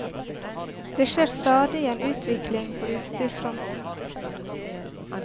Det skjer stadig en utvikling på utstyrsfronten.